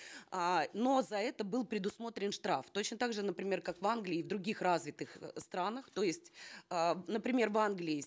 э но за это был предусмотрен штраф точно так же например как в англии и в других развитых э странах то есть э например в англии